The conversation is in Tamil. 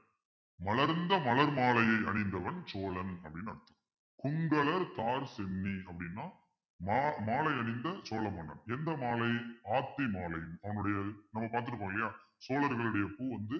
மலர்ந்த மலர் மாலையை அணிந்தவன் சோழன் அப்பிடின்னு அர்த்தம் கொங்கலர்த்தார்ச் சென்னி அப்பிடின்னா மா~ மாலை அணிந்த சோழ மன்னன் எந்த மாலை ஆத்தி மாலை அவனுடைய நம்ம பார்த்திருப்போம் இல்லையா சோழர்களுடைய பூ வந்து